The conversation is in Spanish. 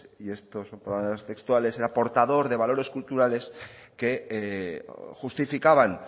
y esto son palabras textuales era portador de valores culturales que justificaban